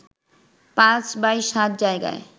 ৫/৭ জায়গায়